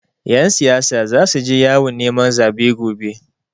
Ƴan siyasa zasu je yawon neman zaɓe gobe.